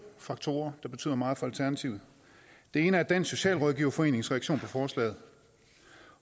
faktorer der betyder meget for alternativet den ene er dansk socialrådgiverforenings reaktion på forslaget